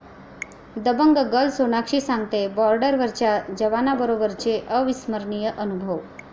Dabangg girl Sonakshi सांगतेय बॉर्डरवरच्या जवानांबरोबरचे अविस्मरणीय अनुभव